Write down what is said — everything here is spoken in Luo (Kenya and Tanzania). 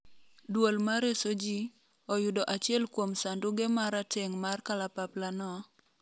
duol mareso jii, oyudo achiel kuom sanduge ma rateng' mar kalapaplano,